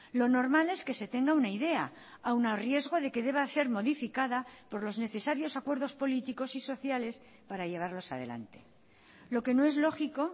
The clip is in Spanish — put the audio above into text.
lo normal es que se tenga una idea aún a riesgo de que deba ser modificada por los necesarios acuerdos políticos y sociales para llevarlos adelante lo que no es lógico